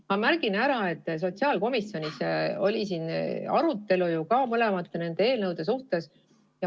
Ma märgin ära, et sotsiaalkomisjonis oli arutelu mõlema eelnõu üle.